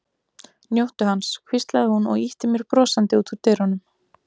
Njóttu hans, hvíslaði hún og ýtti mér brosandi út úr dyrunum.